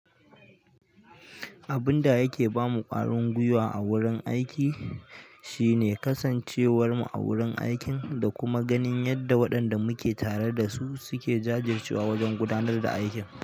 Abun da yake ba mu ƙwaringwiwa a wurin aiki shi ne kasan ce warmu a wurin aikin da kuma yadda waɗan da muke tare da su suke.